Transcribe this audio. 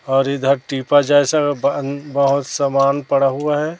और इधर टीपा जैसा बहुत सामान पड़ा हुआ है।